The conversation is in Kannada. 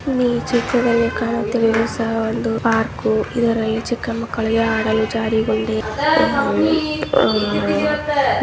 ಇಲ್ಲಿ ಚಿಕ್ಕದಾಗಿ ಕಾಣುತ್ತಿರುವುದು ಸಹ ಒಂದು ಪಾರ್ಕ್. ಇದರಲ್ಲಿ ಚಿಕ್ಕಮಕ್ಕಳಿಗೆ ಹಾಡಲು ಜಾರೆಬಂಡಿ ಉ ಆ --